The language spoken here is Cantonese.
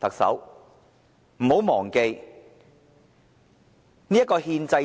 特首不要忘記，政府同樣要面對兌現